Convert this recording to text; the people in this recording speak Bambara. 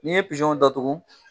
N'i ye datugu